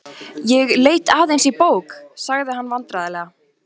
Ég leit aðeins í bók. sagði hann vandræðalega.